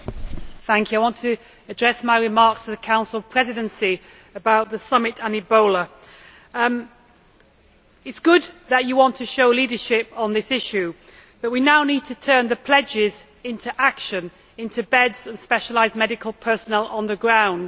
Mr President, I would like to address my remarks to the Council Presidency about the summit and Ebola. It is good that you want to show leadership on this issue, but we now need to turn the pledges into action into beds and specialised medical personnel on the ground.